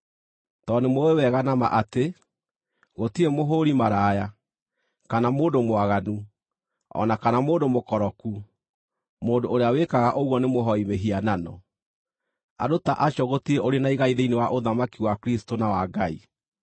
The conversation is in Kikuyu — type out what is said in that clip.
Tondũ nĩmũũĩ wega na ma atĩ: gũtirĩ mũhũũri-maraya, kana mũndũ mwaganu, o na kana mũndũ mũkoroku; mũndũ ũrĩa wĩkaga ũguo nĩ mũhooi mĩhianano, andũ ta acio gũtirĩ ũrĩ na igai thĩinĩ wa ũthamaki wa Kristũ na wa Ngai.